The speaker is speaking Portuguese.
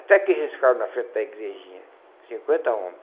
Até que eles ficaram na frente da igrejinha, cinquenta homens.